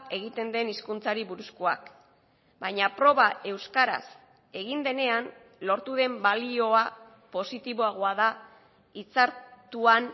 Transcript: egiten den hizkuntzari buruzkoak baina proba euskaraz egin denean lortu den balioa positiboagoa da itzartuan